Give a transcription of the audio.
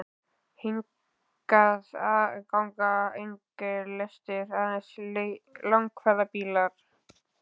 Hingað ganga engar lestir, aðeins langferðabílar.